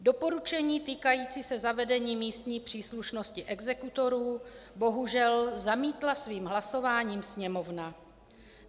Doporučení týkající se zavedení místní příslušnosti exekutorů bohužel zamítla svým hlasováním Sněmovna.